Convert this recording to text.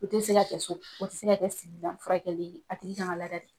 O ti se ka kɛ so o tɛ se ka kɛ furakɛli a tigi kan ka lada de.